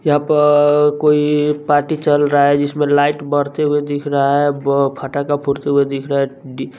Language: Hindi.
यहाँ प अअअ कोई पार्टी चल रहा है जिसमें लाइट बढ़ते हुए दिख रहा है ब फटाका फूटते हुए दिख रहा है डी --